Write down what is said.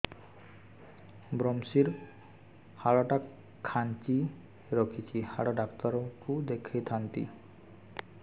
ଵ୍ରମଶିର ହାଡ଼ ଟା ଖାନ୍ଚି ରଖିଛି ହାଡ଼ ଡାକ୍ତର କୁ ଦେଖିଥାନ୍ତି